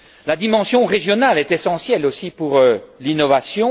La dimension régionale est essentielle aussi à l'innovation.